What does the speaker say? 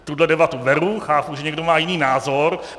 Tuhle debatu beru, chápu, že někdo má jiný názor.